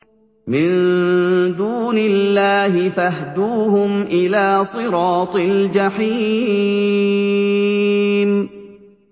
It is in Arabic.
مِن دُونِ اللَّهِ فَاهْدُوهُمْ إِلَىٰ صِرَاطِ الْجَحِيمِ